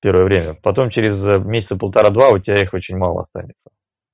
первое время потом через месяца полтора-два у тебя их очень мало останется